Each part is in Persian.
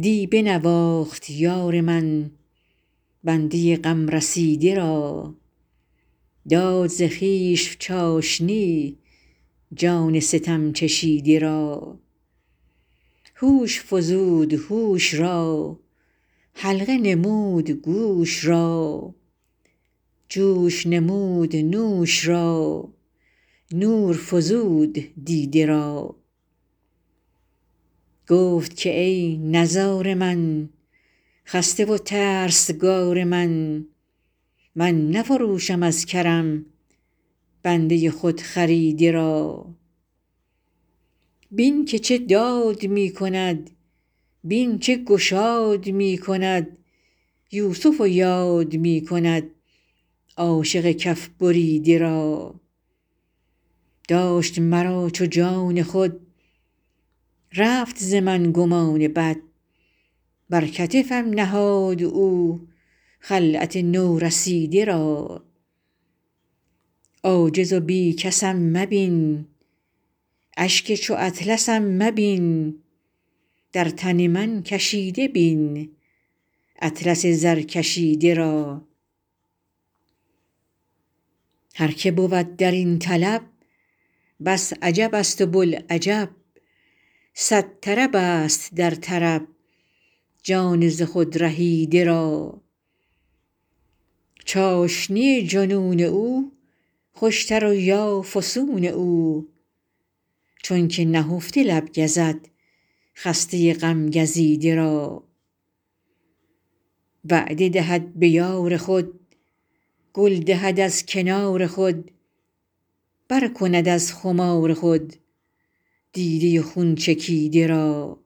دی بنواخت یار من بنده غم رسیده را داد ز خویش چاشنی جان ستم چشیده را هوش فزود هوش را حلقه نمود گوش را جوش نمود نوش را نور فزود دیده را گفت که ای نزار من خسته و ترسگار من من نفروشم از کرم بنده خودخریده را بین که چه داد می کند بین چه گشاد می کند یوسف یاد می کند عاشق کف بریده را داشت مرا چو جان خود رفت ز من گمان بد بر کتفم نهاد او خلعت نورسیده را عاجز و بی کسم مبین اشک چو اطلسم مبین در تن من کشیده بین اطلس زرکشیده را هر که بود در این طلب بس عجبست و بوالعجب صد طربست در طرب جان ز خود رهیده را چاشنی جنون او خوشتر یا فسون او چونک نهفته لب گزد خسته غم گزیده را وعده دهد به یار خود گل دهد از کنار خود پر کند از خمار خود دیده خون چکیده را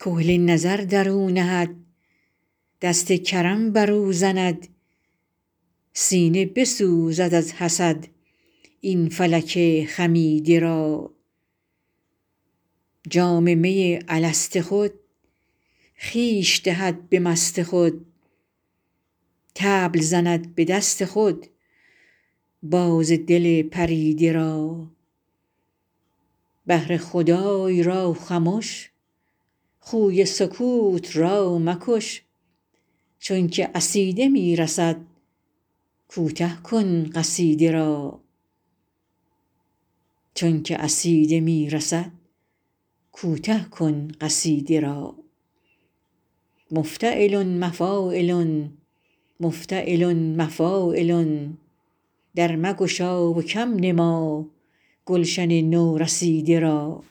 کحل نظر در او نهد دست کرم بر او زند سینه بسوزد از حسد این فلک خمیده را جام می الست خود خویش دهد به مست خود طبل زند به دست خود باز دل پریده را بهر خدای را خمش خوی سکوت را مکش چون که عصیده می رسد کوته کن قصیده را مفتعلن مفاعلن مفتعلن مفاعلن در مگشا و کم نما گلشن نورسیده را